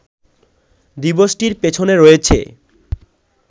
দিবসটির পেছনে রয়েছে